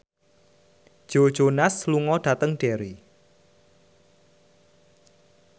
Joe Jonas lunga dhateng Derry